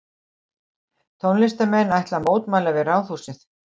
Tónlistarnemar ætla að mótmæla við Ráðhúsið